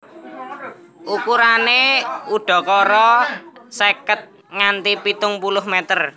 Ukurané udakara seket nganti pitung puluh meter